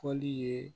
Fɔli ye